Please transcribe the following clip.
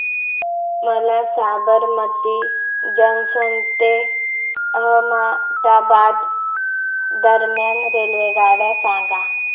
मला साबरमती जंक्शन ते अहमदाबाद दरम्यान रेल्वेगाड्या सांगा